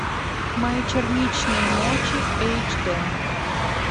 мои черничные ночи эйч д